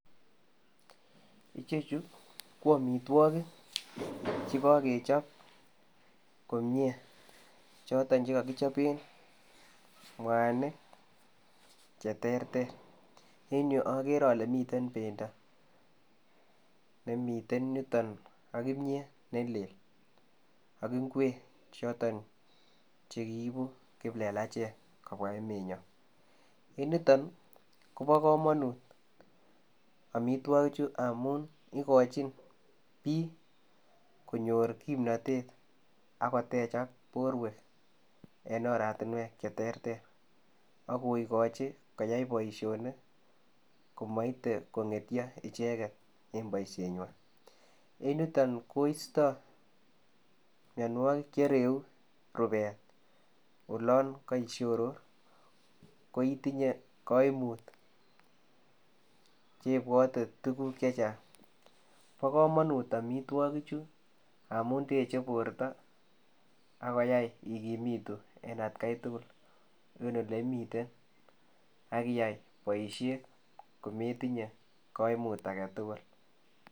Ichechii ko amitwagiik che kagechaap komyei chotoon che kakechapen mwanig che terter en yu agere ale miten bendo nemiten yutoon ak kimyeet ne lel ak ngweeg chotoon chekiipu kiplelacheek kobwa emet nyaany en yutoon kobaa kamanuut amitwagiik chuu amuun igaiichin biik konyoor kimnatet ago techaak en oratinweek che terter ago igochiinn koyai boisionik maite ko ngetya ichegeet en boisiet nywaany, en yutoon koista mianwagik che ireyuu rupeet olaan kaishoror ko itinyei kaimuut che bwate tuguuk che chaang bo kamanut amitwagiik chuu en borto yain igumituu en at gai tugul en ole imiten agiyai boisiet kometinyei kaimuut age tugul.